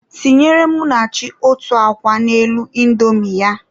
Tinyere Munachi otu akwa n'elu indomi ya.